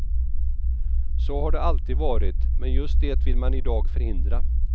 Så har det alltid varit, men just det vill man i dag förhindra.